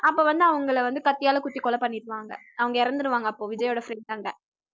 அப்ப வந்து அவங்கள வந்து கத்தியால குத்தி கொலை பண்ணிடுவாங்க அவங்க இறந்திடுவாங்க அப்போ விஜய்யோட friend அங்க